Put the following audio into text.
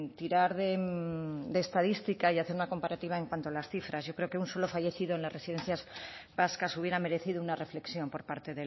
tirar de estadística y hacer una comparativa en cuanto a las cifras yo creo que un solo fallecido en las residencias vascas hubiera merecido una reflexión por parte